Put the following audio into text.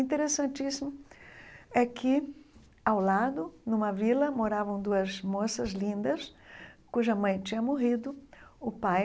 Interessantíssimo é que, ao lado, numa vila, moravam duas moças lindas cuja mãe tinha morrido, o pai